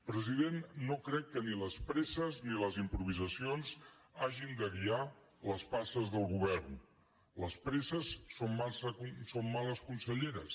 president no crec que ni les presses ni les improvisacions hagin de guiar les passes del govern les presses són males conselleres